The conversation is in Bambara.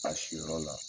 A siyɔrɔ la